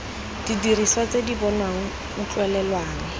didiriswa tse di bonwang utlwelelwang